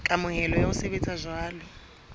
kamohelo ya ho sebetsa jwalo